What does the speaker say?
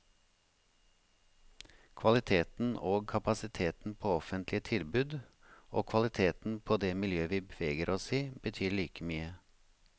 Kvaliteten og kapasiteten på offentlige tilbud og kvaliteten på det miljøet vi beveger oss i, betyr like mye.